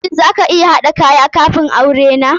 Shin za ka iya haɗa kayan kafun aure na?